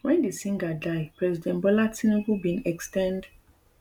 wen di singer die president bola tinubu bin ex ten d